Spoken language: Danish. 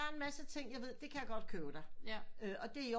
Men det er en masse ting jeg ved det kan jeg godt købe der og det